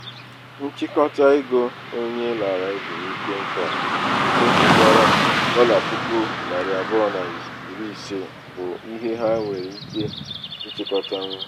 nchịkọta ego onye larala ezumike nka nke pụtara dọla puku narị abụọ na iri ise bụ ihe ha nwere ike ịchịkọtanwu.